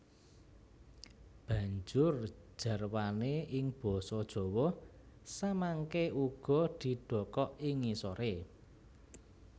Banjur jarwané ing basa Jawa samangké uga didhokok ing ngisoré